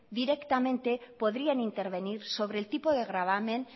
directamente podrían intervenir sobre el tipo de gravamen